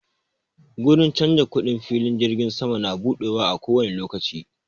Gurin canza kuɗin filin jirgin sama na buɗewa a kowani lokaci